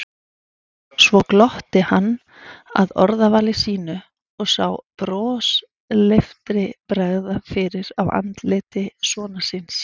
Svo glotti hann að orðavali sínu og sá brosleiftri bregða fyrir á andliti sonar síns.